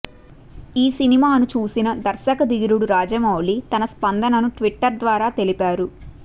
ఈ సినిమాను చూసిన దర్శకధీరుడు రాజమౌళి తన స్పందనను ట్విట్టర్ ద్వారా తెలిపారు